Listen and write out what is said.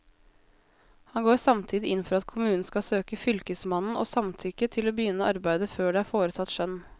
Han går samtidig inn for at kommunen skal søke fylkesmannen om samtykke til å begynne arbeidet før det er foretatt skjønn.